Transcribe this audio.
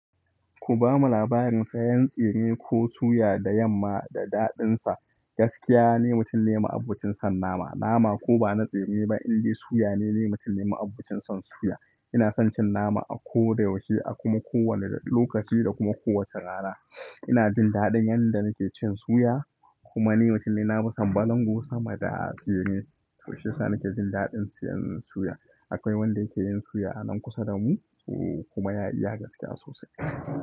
Ku ba mu labarin sayan tsire ko suya da yamma da daɗinsa. Gaskiya ni, mutum ne ma'aɓocin son nama. Nama ko ba na tsire ba, indai suya ni mutum ne ma'abocin son suya. Ina son cin nama a koda yaushe, a kuma kowane lokaci da kuma kowace rana. Ina jin daɗin yanda nake cin suya kuma ni mutum ne nafison balango sama da tsire, to shiyasa nake jin daɗin siyan suya. Akwai wanda yake yin suya a nan kusa da mu kuma ya iya gaskiya sosai.